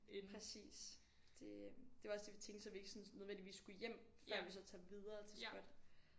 Præcis det øh det var også det vi tænkte så vi ikke sådan nødvendigvis skulle hjem før vi så tager videre til spot